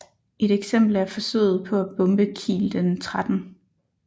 Et eksempel er forsøget på at bombe Kiel den 13